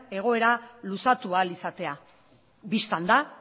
egoera luzatu ahal izatea bistan da